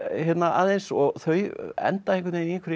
aðeins og þau enda í